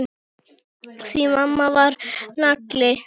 Því mamma var nagli.